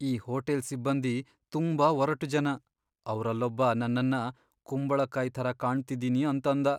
ಈ ಹೋಟೆಲ್ ಸಿಬ್ಬಂದಿ ತುಂಬಾ ಒರಟು ಜನ. ಅವ್ರಲ್ಲೊಬ್ಬ ನನ್ನನ್ನ ಕುಂಬಳಕಾಯ್ ಥರ ಕಾಣ್ತಿದ್ದೀನಿ ಅಂತಂದ.